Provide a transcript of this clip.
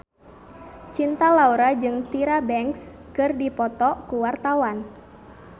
Cinta Laura jeung Tyra Banks keur dipoto ku wartawan